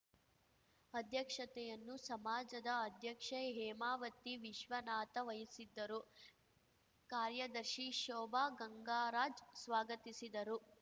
ಅಧ್ಯಕ್ಷತೆಯನ್ನು ಸಮಾಜದ ಅಧ್ಯಕ್ಷೆ ಹೇಮಾವತಿ ವಿಶ್ವನಾಥ ವಹಿಸಿದ್ದರು ಕಾರ್ಯದರ್ಶಿ ಶೋಭಾ ಗಂಗರಾಜ್‌ ಸ್ವಾಗತಿಸಿದರು